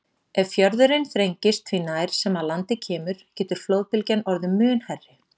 Ef fjörðurinn þrengist því nær sem að landi kemur getur flóðbylgjan orðið mun hærri.